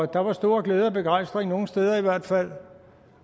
der var stor glæde og begejstring nogle steder i hvert fald